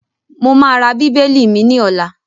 Mo máa ra bíbélì mi ní ọ̀la.